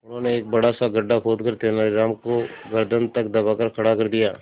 उन्होंने एक बड़ा सा गड्ढा खोदकर तेलानी राम को गर्दन तक दबाकर खड़ा कर दिया